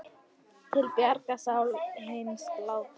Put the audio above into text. Til bjargar sál hins látna.